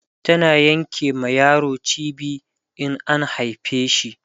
tana Yanke ma yaro cibi in an haife shi